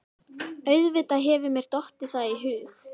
Auðvitað hefur mér dottið það í hug.